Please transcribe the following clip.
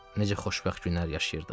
Necə xoşbəxt günlər yaşayırdıq.